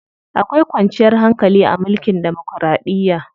Akwai kwanciyar hankali a mulkin demokiraɗiya.